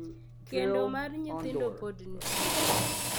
Kendo mar nyithindo pod nitie